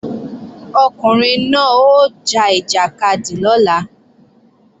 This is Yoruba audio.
Ọkùnrin náà ó ja ìjàkadì lọ́la